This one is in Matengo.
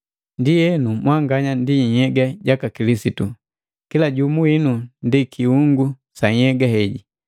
Ndienu mwanganya ndi nhyega jaka Kilisitu, kila jumu winu ndi kiungu sa nhyega heji.